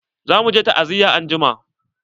Za muje ta'aziya angima.